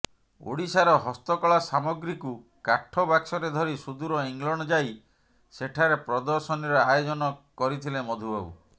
ଓଡ଼ିଶାର ହସ୍ତକଳା ସାମଗ୍ରୀକୁ କାଠ ବାକ୍ସରେ ଧରି ସୁଦୂର ଇଂଲଣ୍ଡ ଯାଇ ସେଠାରେ ପ୍ରଦର୍ଶନୀର ଆୟୋଜନ କରିଥିଲେ ମଧୁବାବୁ